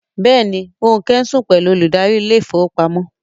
Yes, Ronke is sleeping with the bank manager